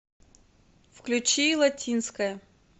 включи латинская